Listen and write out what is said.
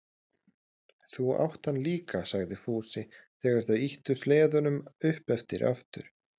Þú átt hann líka, sagði Fúsi þegar þau ýttu sleðunum upp eftir aftur.